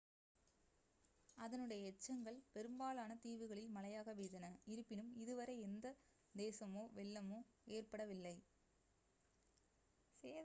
அதனுடைய எச்சங்கள் பெரும்பாலான தீவுகளில் மழையாக பெய்தன இருப்பினும் இதுவரை எந்த சேதமோ வெள்ளமோ ஏற்படவில்லை